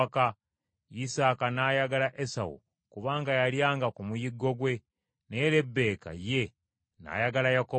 Isaaka n’ayagala Esawu kubanga yalyanga ku muyiggo gwe, naye Lebbeeka ye n’ayagala Yakobo.